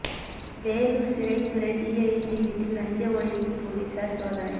வேலூா் சிறைத் துறை டிஐஜி வீட்டில் லஞ்ச ஒழிப்பு போலீஸாா் சோதனை